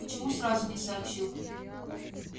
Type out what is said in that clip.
почему сразу не сообщил